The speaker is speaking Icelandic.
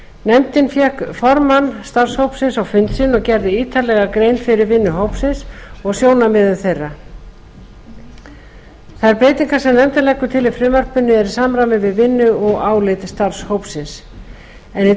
nefndin fékk formann starfshópsins á fund sinn sem gerði ítarlega grein fyrir vinnu hópsins og sjónarmiðum þeirra þær breytingar sem nefndin leggur til á frumvarpinu eru í samræmi við vinnu og álit starfshópsins í